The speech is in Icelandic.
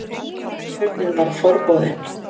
En turninn var forboðinn.